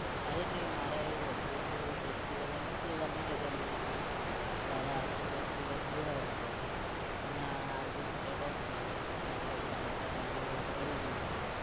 અરે નઈ મારે એવું હતું કે હું festival એ નઇ દિવાળી ની રજા નાતી લીધી ત્યારે આઠ થી દસ દિવસ ગયો તો મેં હાર્દિક sir એ taunt મારી કે ના સાહેબ તમે તો મારી hold કરી દીધી તી